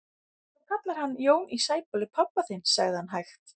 Þú kallar hann Jón í Sæbóli pabba þinn, sagði hann hægt.